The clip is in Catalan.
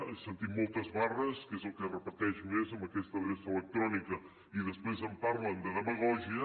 he sentit moltes barres que és el que es repeteix més en aquesta adreça electrònica i després em parlen de demagògia